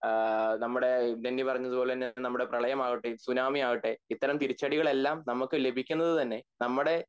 ഏഹ് നമ്മടെ ടെന്നി പറഞ്ഞപോലെ തന്നെ നമ്മടെ പ്രളയം ആവട്ടെ സുനാമി ആവട്ടെ ഇത്തരം തിരിച്ചടികൾ എല്ലാം നമക്ക് ലഭിക്കുന്നത് തന്നെ നമ്മടെ